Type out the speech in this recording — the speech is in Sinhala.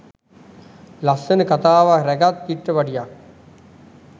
ලස්සම කතාවක් රැගත් චිත්‍රපටියක්.